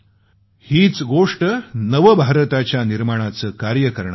हीच गोष्ट नवभारताच्या निर्माणाचे कार्य करणार आहे